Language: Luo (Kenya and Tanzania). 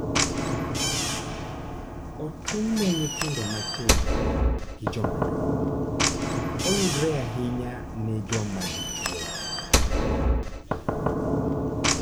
Otinne nyithindo matindo gi jomadongo, oyudore ahinya ne joma dichuo